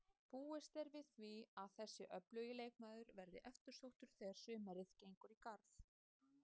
Búist er við því að þessi öflugi leikmaður verði eftirsóttur þegar sumarið gengur í garð.